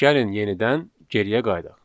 Gəlin yenidən geriyə qayıdaq.